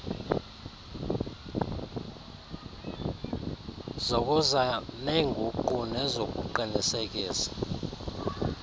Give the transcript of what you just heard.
zokuza neenguqu nezokuqinisekisa